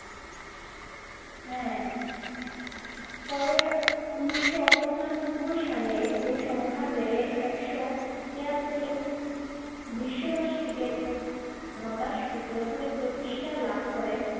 হ্যা পরে উনিশশো পঁচানব্বই সালে ঐ সংখ্যা বেড়ে একশ তেয়াত্তর বিশ্ববাসী এর সুত্র ধরে প্রতিষ্ঠা লাভ করে হ্যা